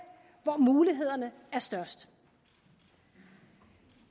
hvor mulighederne er størst